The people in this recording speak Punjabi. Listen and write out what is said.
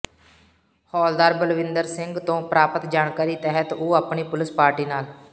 ਹੌਲਦਾਰ ਬਲਵਿੰਦਰ ਸਿੰਘ ਤੋਂ ਪ੍ਰਾਪਤ ਜਾਣਕਾਰੀ ਤਹਿਤ ਉਹ ਆਪਣੀ ਪੁਲਸ ਪਾਰਟੀ ਨਾਲ